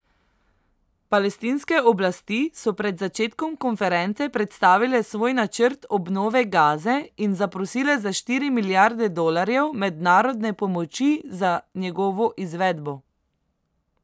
Palestinske oblasti so pred začetkom konference predstavile svoj načrt obnove Gaze in zaprosile za štiri milijarde dolarjev mednarodne pomoči za njegovo izvedbo.